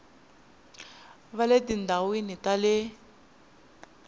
va le tindhawini ta le